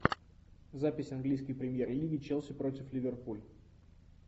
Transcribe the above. запись английской премьер лиги челси против ливерпуль